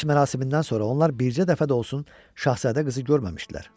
Xaç mərasimindən sonra onlar bircə dəfə də olsa Şahzadə qızı görməmişdilər.